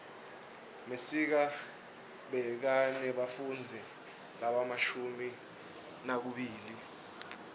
mesiga bekanebafundzi lobamashumi nakubili